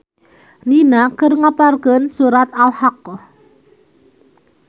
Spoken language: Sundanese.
Nina keur ngapalkeun surat Al-haqqoh